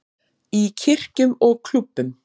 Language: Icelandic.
Í kirkjum og klúbbum.